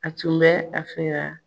A tun bɛ a fɛ ka